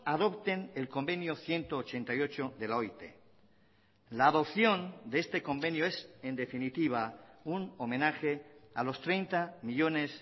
adopten el convenio ciento ochenta y ocho de la oit la adopción de este convenio es en definitiva un homenaje a los treinta millónes